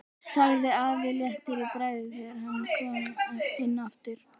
sagði afi léttur í bragði þegar hann kom inn aftur.